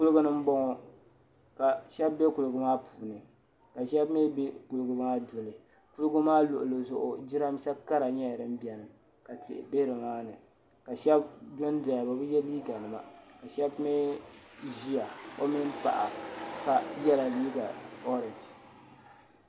kuliga ni m-bɔŋɔ ka shɛba be kuliga maa puuni ka shɛba mi be kuliga maa duli kuliga maa luɣili zuɣu jiraminsa kara nyɛla din beni ka tihi be ni maa ni ka shɛba do n-doya bɛ bi ye liiga nima ka shɛba mi ʒeya o mini paɣa ka yela liiga oragi.